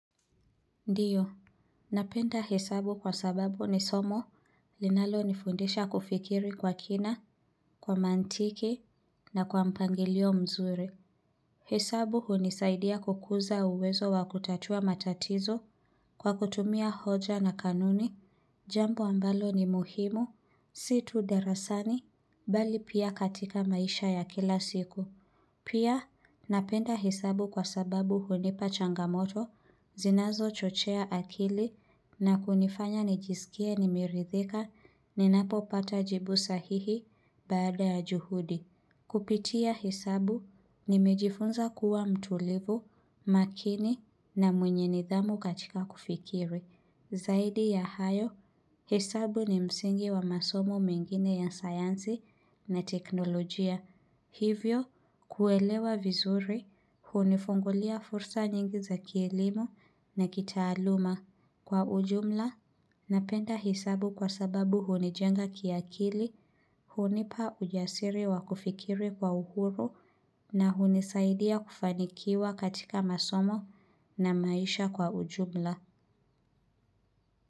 Ndiyo, napenda hesabu kwa sababu ni somo linalo nifundisha kufikiri kwa kina, kwa mantiki na kwa mpangilio mzuri. Hesabu hunisaidia kukuza uwezo wa kutatua matatizo kwa kutumia hoja na kanuni, jambo ambalo ni muhimu, situ darasani, bali pia katika maisha ya kila siku. Pia, napenda hesabu kwa sababu hunipa changamoto, zinazo chochea akili na kunifanya nijisikie nimerithika ni napo pata jibu sahihi baada ya juhudi. Kupitia hesabu, nimejifunza kuwa mtulivu, makini na mwenye nidhamu katika kufikiri. Zaidi ya hayo, hesabu ni msingi wa masomo mengine ya sayansi na teknolojia. Hivyo, kuelewa vizuri, hunifungulia fursa nyingi za kielimou na kitaaluma. Kwa ujumla, napenda hesabu kwa sababu hunijenga kiakili, hunipa ujasiri wa kufikiri kwa uhuru na unisaidia kufanikiwa katika masomo na maisha kwa ujumla.